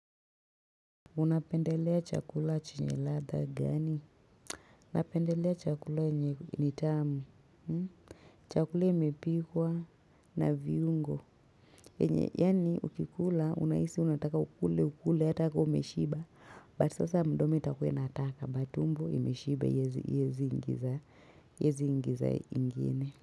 Unapendelea chakula chenye ladha gani? Unapendelea chakula yenye ni tamu chakula imepikwa na viungo enye yani ukikula unahisi unataka ukule ukule hata ka umeshiba bu sasa mdomo itakua inataka but tumbo imeshiba hiezi ingiza hiezi ingiza ingine.